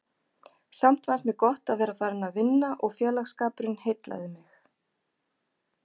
Samt fannst mér gott að vera farin að vinna og félagsskapurinn heillaði mig.